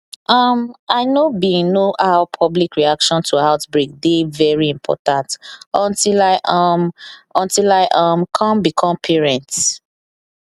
um i know bin know how public reaction to outbreak dey very important until i um until i um come become parents